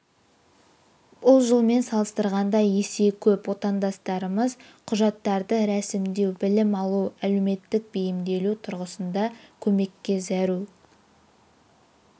бұл жылмен салыстырғанда есе көп отандастарымыз құжаттарды рәсімдеу білім алу әлеуметтік бейімделу тұрғысында көмекке зәру